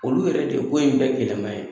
Olu yɛrɛ de ye ko in bee gɛlɛnman ye.